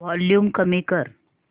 volume कमी कर